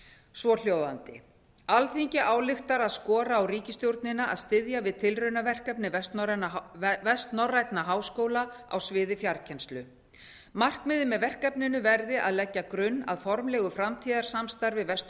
svohljóðandi alþingi ályktar að skora á ríkisstjórnina að styðja við tilraunaverkefni vestnorrænna háskóla á sviði fjarkennslu markmiðið með verkefninu verði að leggja grunn að formlegu framtíðarsamstarfi vestur